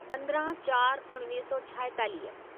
पंद्रहं चार उणिवीह सौ छाएतालीह